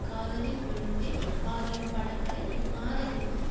காதலில் விழுந்தேன் ஆகிய படங்களை இம்மாத இறுதியில்